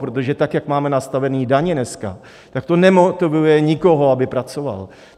Protože tak, jak máme nastavené daně dneska, tak to nemotivuje nikoho, aby pracoval.